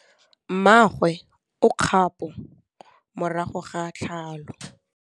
Mmagwe o kgapô morago ga tlhalô.